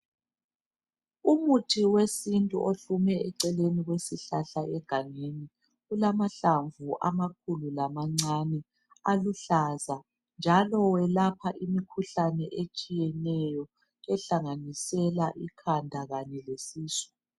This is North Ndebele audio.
Umuthi wesintu ohlume eceleni kwesihlahla egangeni ulamahlamvu amakhulu lamancane aluhlaza njalo welapha imikhuhlane etshiyeneyo ehlanganisela ikhanda kanye lesisu.